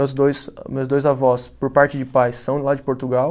Os dois, meus dois avós, por parte de pais, são lá de Portugal.